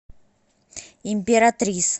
императрис